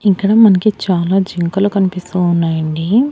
ఇక్కడ మనకి చాలా జింకలు కనిపిస్తూ ఉన్నాయండి.